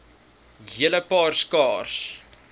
hele paar skaars